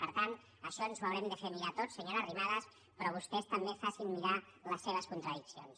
per tant això ens ho haurem de fer mirar tots senyora arrimadas però vostès també facin se mirar les seves contradiccions